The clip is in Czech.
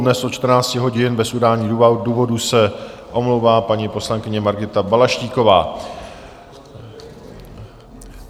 Dnes od 14 hodin bez udání důvodu se omlouvá paní poslankyně Margita Balaštíková.